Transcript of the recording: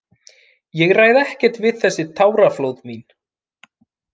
Ég ræð ekkert við þessi táraflóð mín.